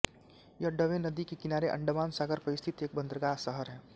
यह डवे नदी के किनारे अंडमान सागर पर स्थित एक बंदरगाह शहर है